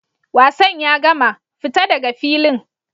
Wasan ya gama!fita daga filin!